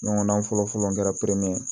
Ɲɔgɔnna fɔlɔ fɔlɔ kɛra